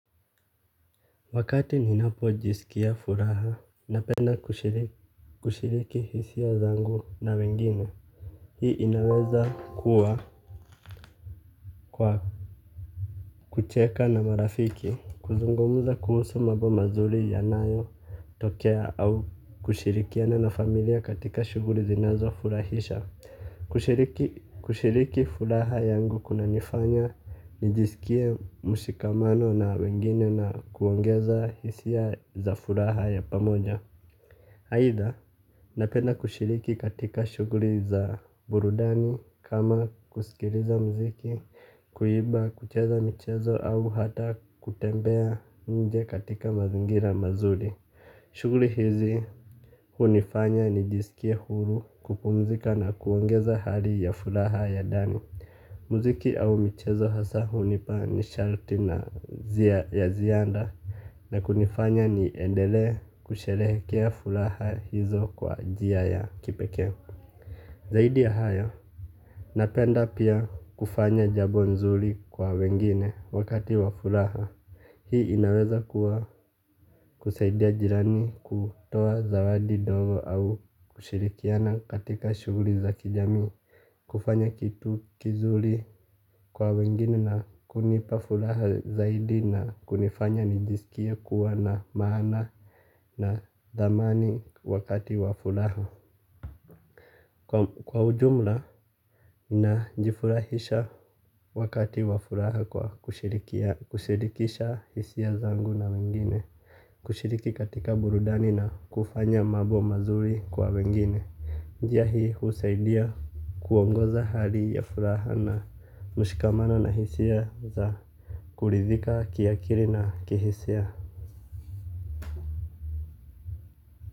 Wakati ninapojisikia furaha napenda kushiriki hisia zangu na wengine. Hii inaweza kuwa kwa kucheka na marafiki. Kuzungumza kuhusu mambo mazuri yanayotokea au kushirikiana na familia katika shughuli zinazofurahisha. Kushiriki kushiriki furaha yangu kunanifanya, nijisikie mshikamano na wengine na kuongeza hisia za furaha ya pamoja. Aidha, napenda kushiriki katika shughuli za burudani kama kusikiliza muziki, kuimba, kucheza michezo au hata kutembea nje katika mazingira mazuri. Shughuli hizi hunifanya nijisikie huru kupumzika na kuongeza hali ya furaha ya ndani. Muziki au michezo hasaa hunipa nishati na ya ziada. Na kunifanya niendelee kusherehekea furaha hizo kwa njia ya kipekee. Zaidi ya hayo, napenda pia kufanya jambo nzuri kwa wengine wakati wa furaha. Hii inaweza kuwa kusaidia jirani kutoa zawadi ndogo au kushirikiana katika shughuli za kijamii. Kufanya kitu kizuri kwa wengine na kunipa furaha zaidi na kunifanya nijisikie kuwa na maana na dhamani wakati wa furaha. Kwa ujumla najifurahisha wakati wa furaha kwa kushirikisha hisia zangu na wengine. Kushiriki katika burudani na kufanya mambo mazuri kwa wengine njia hii husaidia kuongoza hali ya furaha na mshikamano na hisia za kuridhika kiakili na kihisia.